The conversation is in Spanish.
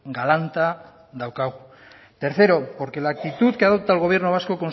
galanta daukagu tercero porque la actitud que adopta el gobierno vasco